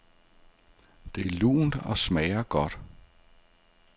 Det er lunt og smager godt.